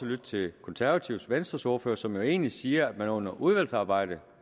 lytte til de konservatives og venstres ordførere som jo egentlig siger at man under udvalgsarbejdet